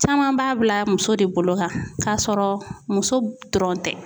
Caman b'a bila muso de bolo ka kasɔrɔ muso dɔrɔn tɛ.